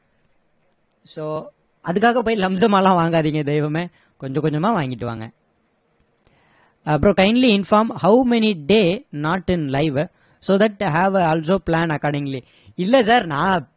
so அதுக்காக போய் lumpsum மா எல்லாம் வாங்காதீங்க தெய்வமே கொஞ்ச கொஞ்சமா வாங்கிட்டு வாங்க அப்பறம் kindly inform how many day not in live so that i have also plan accordingly இல்லை sir நான்